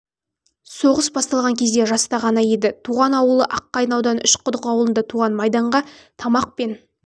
соғыс басталған кезде жаста ғана еді туған ауылы аққайын ауданы үш құдық ауылында майданға тамақ пен